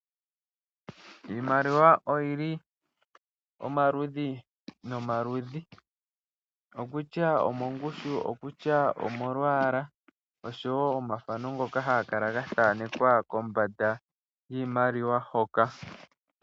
Iimaliwa oyili omaludhi nomaludhi okutya omongushu okutya omolwaala oshowo omathano ngono haga kala ga thanekwa kombanda yiimaliwa hoka.